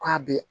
K'a bɛ